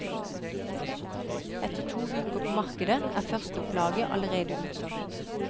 Etter to uker på markedet er førsteopplaget allerede utsolgt.